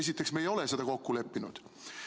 Esiteks, me ei ole seda kokku leppinud.